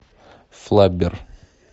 флаббер